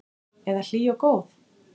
Eða hlý og góð?